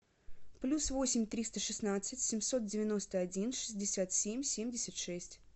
плюс восемь триста шестнадцать семьсот девяносто один шестьдесят семь семьдесят шесть